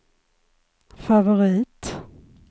favorit